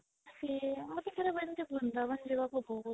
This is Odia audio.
ସେଇଆ ମୋତେ ସେ ଥରେ ବୃନ୍ଦାବନ ଯିବାକୁ ବହୁତ